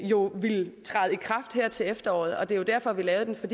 jo vil træde i kraft her til efteråret det var derfor vi lavede den for